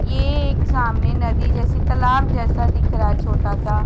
ये एक सामने नदी जैसी तलाब जैसा दिख रहा है छोटा सा।